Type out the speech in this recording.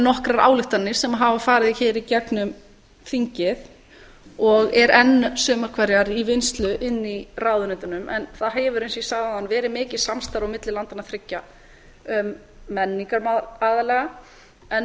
nokkrar ályktanir sem hafa farið hér í gegnum þingið og eru enn sumar hverjar í vinnslu inni í ráðuneytunum en það hefur eins og ég sagði áðan verið mikið samstarf á milli landanna þriggja um menningarmál aðallega en